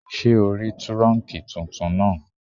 Ṣé ò rí túrọ̀nkì tuntun náà?